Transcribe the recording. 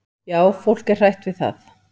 """Já, fólk er hrætt við það."""